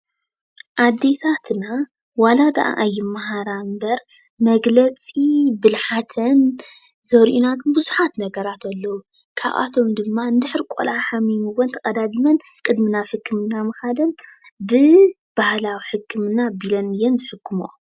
ኣዴታትና ዋላደኣ ኣይመሃራ እምበር መግለፂ ብልሓተን ዘርእዩና ግን ብዙሓት ነገራት ኣለው፡፡ ካብኣቶም ድማ እንድሕር ቆልዓ ሓሚሙወን ተቀዳዲመን ቅድሚ ሕክምና ምኻደን ብባህላዊ ሕክምና ኣቢለን እየን ዝሕክምኦ።